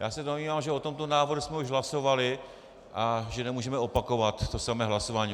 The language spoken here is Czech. Já se domnívám, že o tomto návrhu jsme už hlasovali a že nemůžeme opakovat to samé hlasování.